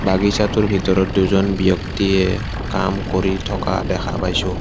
বাগিচাটোৰ ভিতৰত দুজন ব্যক্তিয়ে কাম কৰি থকা দেখা পাইছোঁ।